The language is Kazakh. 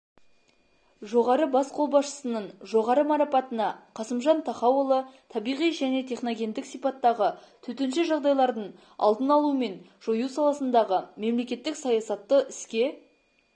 жоғары бас қолбасшының жоғары марапатына қасымжан тахауұлы табиғи және техногендік сипаттағы төтенше жағдайлардың алдын алу мен жою саласындағы мемлекеттік саясатты іске